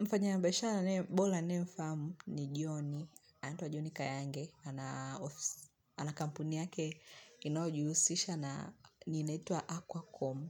Mfanyabiashara bora ninaye mfahamu ni John, anaitwa John Kayange, ana ofisi ana kampuni yake inayojihusisha na ni inaitwa Aquacom.